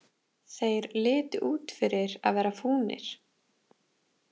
Þeir litu út fyrir að vera fúnir.